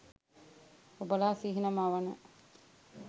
ඔබලා සිහින මවන